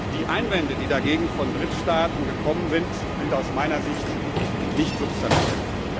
Die Einwände, die dagegen von Drittstaaten gekommen sind, sind aus meiner Sicht nicht substanziell.